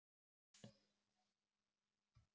Verði þér að góðu.